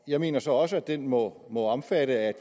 jeg mener så også at den må må omfatte at